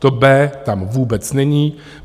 To B tam vůbec není.